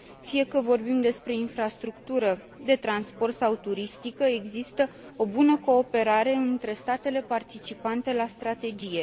Fie că vorbim despre infrastructură de transport sau turistică, există o bună cooperare între statele participante la strategie.